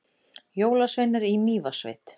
Jólasveinar í Mývatnssveit